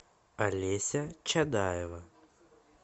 олеся чадаева